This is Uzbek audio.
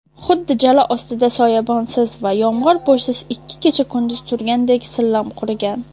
Xuddi jala ostida soyabonsiz va yomg‘irpo‘shsiz ikki kecha-kunduz turgandek sillam qurigan.